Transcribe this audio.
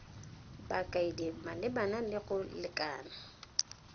bakaedi malebana le go lekana